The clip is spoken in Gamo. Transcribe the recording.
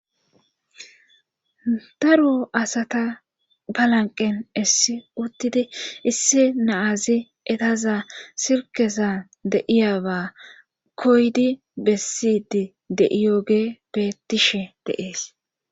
Daro asata balanqen issi uttidi isse naazi etaza sirkesa deiyaba koydi bessidi de'iyoge bettishe dees.